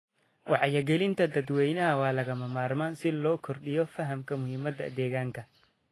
Wacyigelinta dadweynaha waa lagama maarmaan si loo kordhiyo fahamka muhiimadda deegaanka.